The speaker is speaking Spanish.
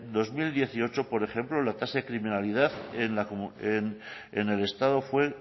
dos mil dieciocho la tasa de criminalidad en el estado fue